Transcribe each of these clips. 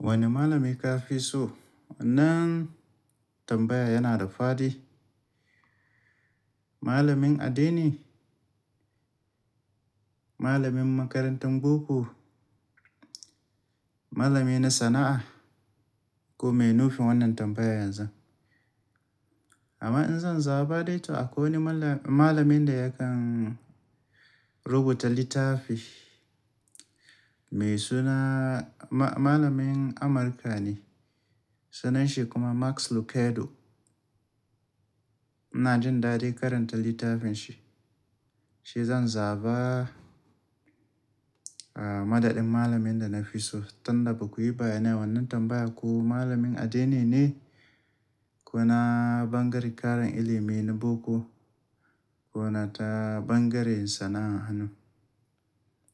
Wane malami ka fi so? Wannan tambaya yana da fadi. Malamin addini, malamin makarantar boko, malami na sana'a ko me nufin wannan tambayan yanzun? Amma in zan zaba dai, to akwai wani malam- malamin da yakan rubuta littafi mai suna-- ma-malamin Amurka ne. Sunanshi kuma Max Lucado. Ina jin daɗin karanta littafin shi. Shi zan zaba, ah, madadin malamin da na fi so. Tunda bakuyi bayyana wannan tambaya ko malamin addini ne ko na bangaren karan ilimi na boko ko na ta bangaren sana'an hannu.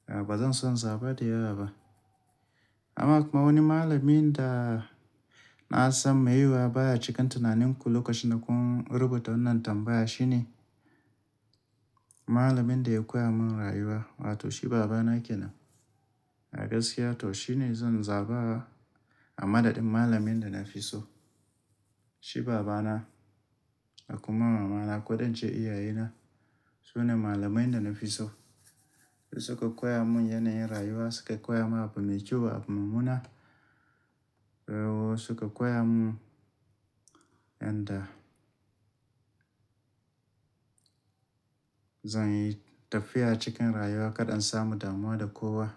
Ah, ba zan son zaba da yawa ba. Amma kuma wani malamin da na san mai yiwuwa baya cikin tunaninku lokacin da kun rubuta wannan tambaya shine malamin da ya koya mun rayuwa. Wato shi baba na kenan. A gaskiya to shi ne zan zaba a madadin malamin da na fi so. Shi baba na da kuma mama na kaɗan ce iyaye na. Su ne malamai da na fi so. Su suka koya mun yanayin rayuwa, suka koya mun abu mai kyau da abu mummuna. Eh, su suka koya mun yanda zan yi tafiya cikin rayuwa kaɗan samu damuwa da kowa.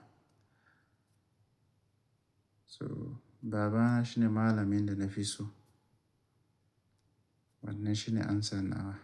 So baba na shine malamin da na fi so. Wannan shine amsa nawa.